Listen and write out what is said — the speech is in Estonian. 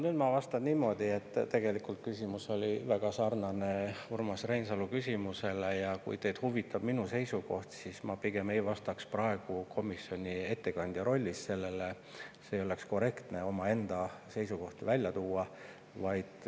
Nüüd ma vastan niimoodi, et tegelikult oli see küsimus väga sarnane Urmas Reinsalu küsimusega ja kui teid huvitab minu seisukoht, siis ma pigem ei vastaks praegu komisjoni ettekandja rollis olles sellele, sest ei oleks korrektne omaenda seisukohti välja tuua.